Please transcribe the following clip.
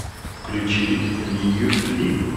включи лию ли